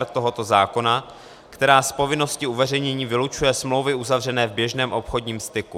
r) tohoto zákona, která z povinnosti uveřejnění vylučuje smlouvy uzavřené v běžném obchodním styku.